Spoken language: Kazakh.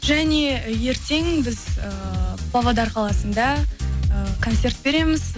және ертең біз ііі павлодар қаласында і концерт береміз